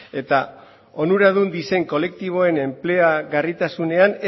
eta onuradun diren kolektiboen enpleagarritasunean